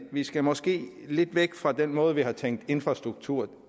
skal måske lidt væk fra den måde vi har tænkt infrastruktur